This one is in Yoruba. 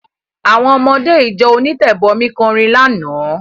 Àwọn ọmọdé ìjọ onítẹ̀bọmi kọrin lánàá.